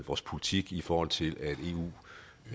vores politik i forhold til at eu